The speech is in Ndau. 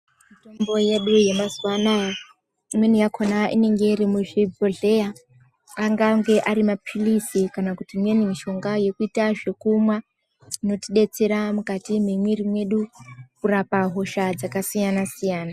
Mitombo yedu yemazuvano aya, imweni yakona inenge iri muzvibhodhleyaa, angange ari mapirizi kana kuti imweni mishonga yekuita zvekumwaa, inotidetsera mukari mwemwiiri mwedu kurapa hosha dzakasiyana- siyana